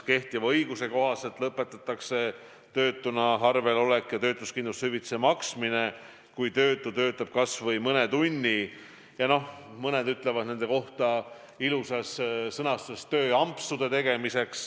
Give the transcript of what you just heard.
Kehtiva õiguse kohaselt lõpetatakse töötuna arvel olek ja töötuskindlustushüvitise maksmine, kui töötu töötab kasvõi mõne tunni tööampsude tegemiseks, nagu mõned nende kohta ilusti ütlevad.